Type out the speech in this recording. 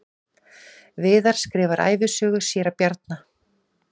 Viðar skrifar ævisögu séra Bjarna